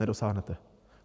Nedosáhnete.